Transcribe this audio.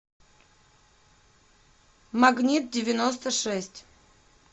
магнитдевяностошесть